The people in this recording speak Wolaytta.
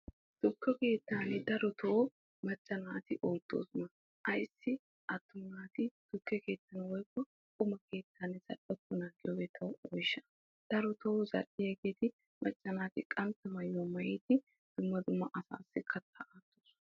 tukke keettan darotoo macca naati oottoosona. ayissi attuma naati tukke keettan woyikko quma keettan zal'okkonaa giyogee tawu oyisha. darotoo macca naati qantta mayyuwa mayyidi kattaa aattoosona.